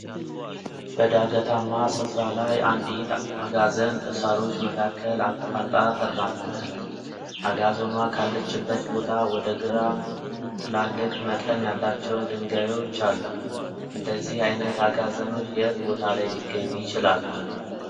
በዳገታማ ስፍራ ላይ አንዲት አጋዘን በሳሮች መካከል አቋርጣ ትራመዳለች። አጋዘኗ ካለችበት ቦታ ወደ ግራም ትላልቅ መጠን ያላቸው ድንጋዮች አሉ። እንደዚህ አይነት አጋዘኖች የት ቦታ ላይ ሊገኙ ይችላሉ?